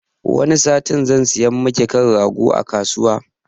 Wani satin zan saya maki kan rago a kasuwa